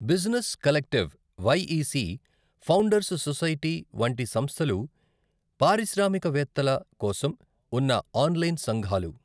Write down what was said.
Business collective, YEC, founders society వంటి సంస్థలు పారిశ్రామికవేత్తల కోసం ఉన్న ఆన్లైన్ సంఘాలు.